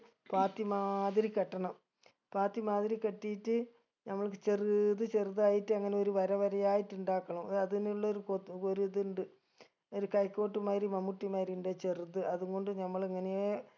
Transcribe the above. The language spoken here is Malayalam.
പാത്തി മാതിരി കെട്ടണം പാത്തി മാതിരി കെട്ടീട്ട് നമ്മൾക്ക് ചെറുത് ചെറുതായിട്ട് അങ്ങനെ ഒരു വരവരയായിട്ട് ഇണ്ടാക്കണം ഏർ അതിനുള്ളൊരു കൊത്ത് ഒരു ഇതിണ്ട് ഒരു കൈക്കോട്ട് മായിരി മമ്മൂട്ടി മായിരി ഇണ്ട് ചെറുത് അതും കൊണ്ട് നമ്മളിങ്ങനേ